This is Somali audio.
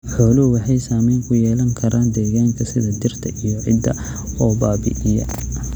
Xooluhu waxay saamayn ku yeelan karaan deegaanka sida dhirta iyo ciidda oo baabi'iya.